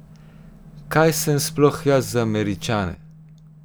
Kaj sem sploh jaz za Američane?